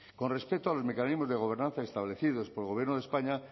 con respecto a los mecanismos de gobernanza establecidos por el gobierno de españa